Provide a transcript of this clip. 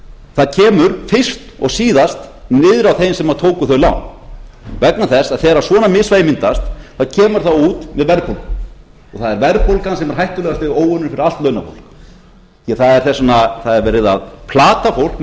það kemur fyrst og síðast niður á þeim sem tóku þau lán vegna þess að þegar svona misvægi myndast kemur það út með verðbólgu og það er verðbólgan sem er hættulegasti óvinurinn fyrir allt launafólk því að það er verið að plata fólk með